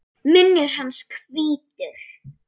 Munnur hans hvítur.